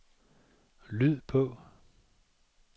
lyd på